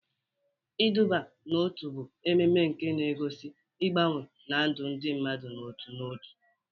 Iduba n'otu bụ emume nke na-egosi mgbanwe na ndụ ndị mmadụ n'otu n'otu.